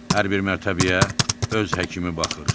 Hər bir mərtəbəyə öz həkimi baxır.